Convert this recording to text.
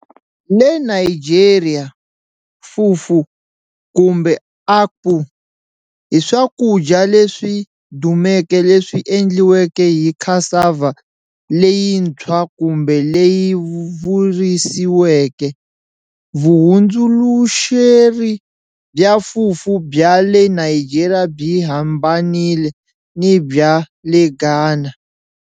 Le Nigeria,"fufu" kumbe"akpu" i swakudya leswi dumeke leswi endliweke hi cassava leyintshwa kumbe leyi virisiweke. Vuhundzuluxeri bya Fufu bya le Nigeria byi hambanile ni bya le Ghana.